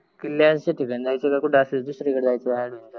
किलयांच्या ठिकाणी जायच आहे का कुठ आस दुसरी कद जायच आहे